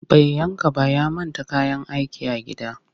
Bai yanka ba ya manta kayan aikin a gida